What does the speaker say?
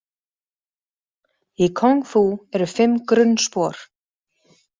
Í kúngfú eru fimm grunnspor.